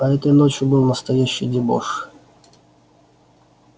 а этой ночью был настоящий дебош